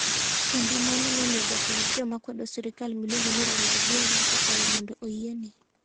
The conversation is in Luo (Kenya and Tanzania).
Kendo mano nomiyo jatend joma kwedo sirkal miluongo ni Raila Odinga, okwayo mondo oyiene.